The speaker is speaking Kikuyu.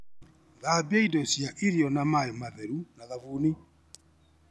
Thambia indo cia irio na maĩ matheru na thabuni.